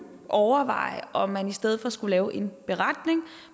overveje om man i stedet for skulle lave en beretning